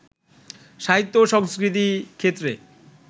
সাহিত্য ও সংস্কৃতি ক্ষেত্রে